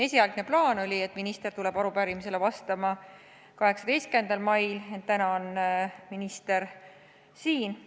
Esialgne plaan oli selline, et minister tuleb arupärimisele vastama 18. mail, ent minister on juba täna siin.